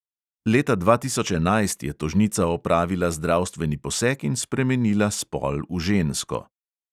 Leta dva tisoč enajst je tožnica opravila zdravstveni poseg in spremenila spol v žensko.